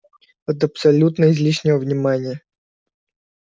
от абсолютно излишнего внимания